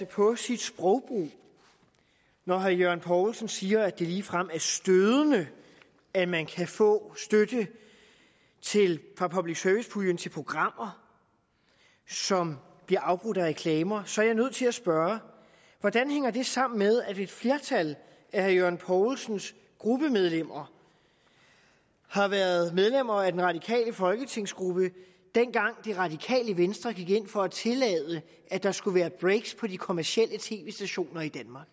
på sit sprogbrug når herre jørgen poulsen siger at det ligefrem er stødende at man kan få støtte fra public service puljen til programmer som bliver afbrudt af reklamer så er jeg nødt til at spørge hvordan hænger det sammen med at et flertal af herre jørgen poulsens gruppemedlemmer har været medlemmer af den radikale folketingsgruppe dengang det radikale venstre gik ind for at tillade at der skulle være breaks på de kommercielle tv stationer i danmark